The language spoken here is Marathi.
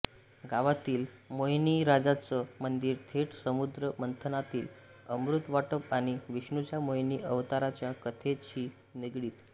गावातील मोहिनीराजाचं मंदीर थेट समुद्रमंथनातील अमृतवाटप आणि विष्णूच्या मोहीनी अवताराच्या कथेशी निगडीत